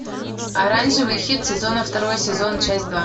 оранжевый хит сезона второй сезон часть два